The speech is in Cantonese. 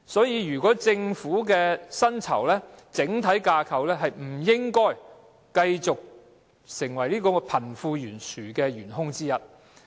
因此，政府薪酬的整體架構不應繼續作為貧富懸殊的元兇之一。